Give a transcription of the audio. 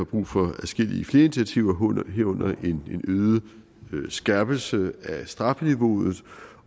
brug for adskillige flere initiativer herunder en øget skærpelse af strafniveauet